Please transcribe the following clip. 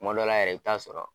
Kuma dɔ la yɛrɛ i bi taa sɔrɔ